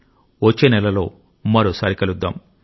వచ్చే నెలలో మరోసారి కలుద్దాం